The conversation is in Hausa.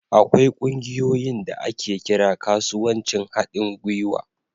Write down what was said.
Akwai ƙungiyoyin da ake kira kasuwancin haɗin gwiwa.